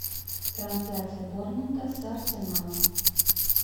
трансляция борнмута с арсеналом